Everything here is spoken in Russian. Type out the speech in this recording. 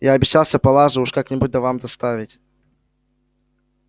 я обещался палаше уж как-нибудь да вам доставить